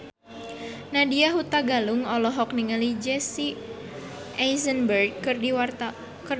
Nadya Hutagalung olohok ningali Jesse Eisenberg keur diwawancara